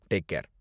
Take care.